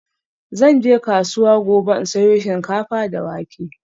Zan je kasuwa gobe in sayo shinkafa da wake.